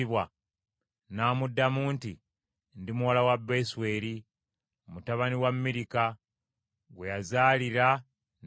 N’amuddamu nti, “Ndi muwala wa Besweri, mutabani wa Mirika gwe yazaalira Nakoli.”